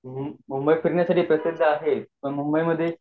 मुंबई त फिरण्यासाठी खूप जागा आहेत पण